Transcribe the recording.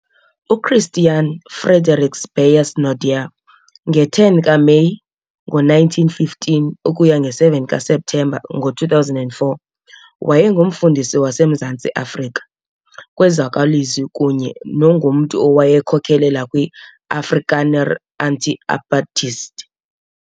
UChristiaan Frederick Beyers Naudé, nge-10 kaMeyi ngo-1915 ukuya nge-7 kaSeptemba ngo-2004, wayengumfundisi wase Mzantsi Afrika, kwezakwalizwi kunye nongumntu owayekhokela kwi-Afrikaner anti-apartist.